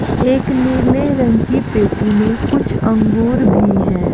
एक नीले रंग की पेटी में कुछ आंगुर भी हैं।